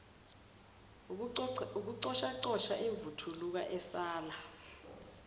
ukucoshacosha imvuthuluka esala